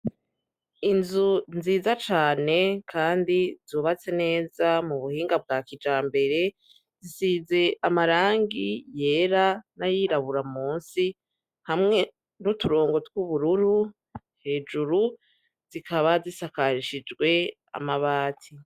Inzu nziza cane, kandi zubatse neza mu buhinga bwa kija mbere zisize amarangi yera n'ayirabura musi hamwe n'uturongo tw'ubururu hejuru zikaba zisakarishijwe amabati.